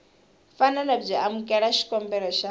fanele byi amukela xikombelo xa